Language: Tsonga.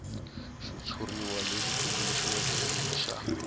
xitshuriwa lexi tumbuluxiweke i xa